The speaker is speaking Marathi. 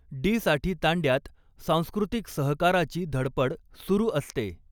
डी साठी तांड्यात सांस्कृतीक सहकाराची धडपड सुरू असते.